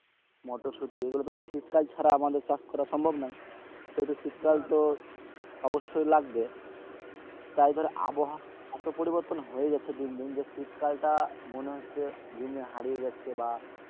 মটরশুঁটি এগুলি তো শীতকাল ছাড়া আমাদের চাষ করা সম্ভব নয় তো শীতকালতো অবশ্যই লাগবে তাই ধর আবহাওয়ার পরিবর্তন হয়েই যাচ্ছে দিন দিন শীতকালটা মনে হচ্ছে দিন দিন হারিয়ে যাচ্ছে বা,